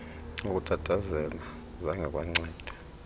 ukutatazela zange kwanceda